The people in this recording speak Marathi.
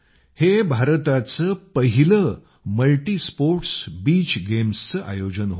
हे भारताचं पहिलं मल्टीस्पोर्टस् बीच गेम्सचं आयोजन होतं